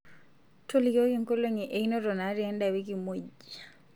tolikioki nkolongi einoto naati eda wiki muuj